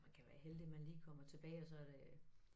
Man kan være heldig man lige kommer tilbage og så det øh